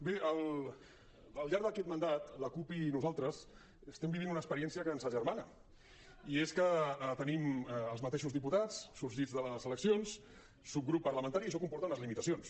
bé al llarg d’aquest mandat la cup i nosaltres estem vivint una experiència que ens agermana i és que tenim els mateixos diputats sorgits de les eleccions subgrup parlamentari i això comporta unes limitacions